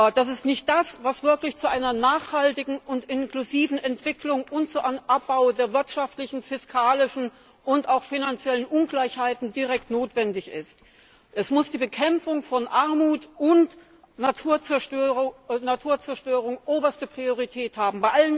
Das ist nicht das, was wirklich zu einer nachhaltigen und inklusiven Entwicklung und zu einem Abbau der wirtschaftlichen, fiskalischen und auch finanziellen Ungleichheiten direkt notwendig ist. Bei allen Investitionen muss die Bekämpfung von Armut und Naturzerstörung oberste Priorität haben.